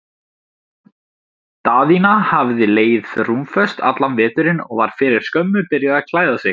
Daðína hafði legið rúmföst allan veturinn og var fyrir skömmu byrjuð að klæða sig.